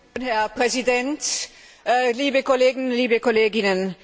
Herr Präsident, liebe Kollegen, liebe Kolleginnen!